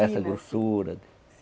Essa grossura.